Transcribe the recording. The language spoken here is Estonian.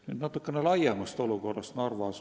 Nüüd natukene laiemalt olukorrast Narvas.